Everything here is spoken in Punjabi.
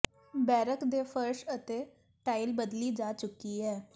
ਬੈਰਕ ਦੇ ਫਰਸ਼ ਅਤੇ ਟਾਈਲ ਬਦਲੀ ਜਾ ਚੁੱਕੀ ਹੈ